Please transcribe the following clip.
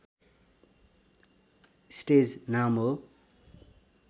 stage नाम हो